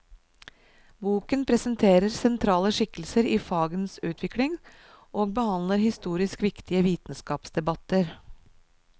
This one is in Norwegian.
Boken presenterer sentrale skikkelser i fagenes utvikling, og behandler historisk viktige vitenskapsdebatter.